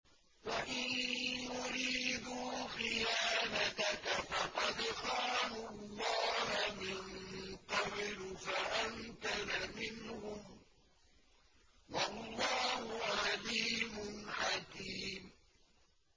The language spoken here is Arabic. وَإِن يُرِيدُوا خِيَانَتَكَ فَقَدْ خَانُوا اللَّهَ مِن قَبْلُ فَأَمْكَنَ مِنْهُمْ ۗ وَاللَّهُ عَلِيمٌ حَكِيمٌ